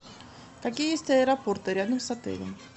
какие есть аэропорты рядом с отелем